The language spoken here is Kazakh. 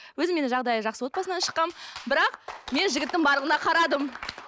өзім мен жағдайы жақсы отбасынан шыққанмын бірақ мен жігіттің барлығына қарадым